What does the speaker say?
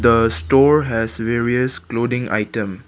the store has various clothing item.